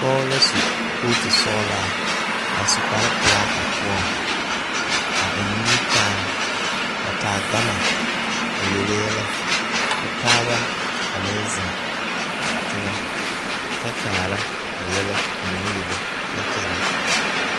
Pɔge la su kootusɔglaa a su kparepelaa a poɔŋ a eŋ nimikyaane a taa gama a yele yɛlɛ k,o taaba a meŋ zeŋ teŋɛ kyɛ kaara a yɛlɛ o naŋ yele kyɛ kyɛllɛ.